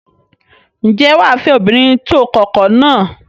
Ǹjẹ́ wà á fẹ́ obìnrin tó kọkọ náà?